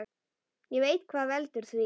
Ég veit hvað veldur því.